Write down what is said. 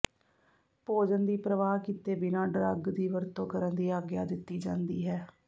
ਭੋਜਨ ਦੀ ਪਰਵਾਹ ਕੀਤੇ ਬਿਨਾਂ ਡਰੱਗ ਦੀ ਵਰਤੋਂ ਕਰਨ ਦੀ ਆਗਿਆ ਦਿੱਤੀ ਜਾਂਦੀ ਹੈ